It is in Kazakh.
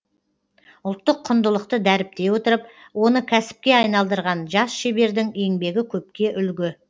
ұлттық құндылықты дәріптей отырып оны кәсіпке айналдырған жас шебердің еңбегі көпке үлгі